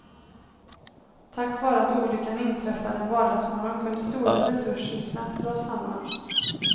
Tack vare att olyckan inträffade en vardagsmorgon kunde stora resurser snabbt dras samman.